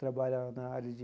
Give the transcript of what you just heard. Trabalha na área de